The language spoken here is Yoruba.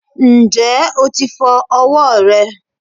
Ǹjẹ́ o ti fọ ọwọ́ rẹ?